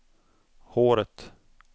håret